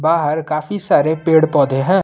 बाहर काफी सारे पेड़ पौधे हैं।